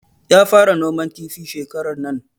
Ya fara noman kifi shekarar nan